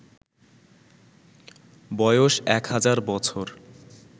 বয়স ১০০০ বছর